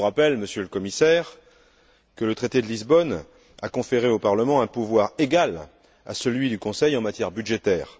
Je vous rappelle, Monsieur le Commissaire, que le traité de Lisbonne a conféré au Parlement un pouvoir égal à celui du Conseil en matière budgétaire.